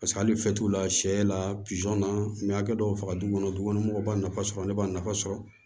Paseke hali la sɛ la na n bɛ hakɛ dɔw faga du kɔnɔ dukɔnɔ mɔgɔw b'a nafa sɔrɔ ne b'a nafa sɔrɔ